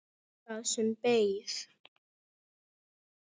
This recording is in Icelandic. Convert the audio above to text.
Það sem beið.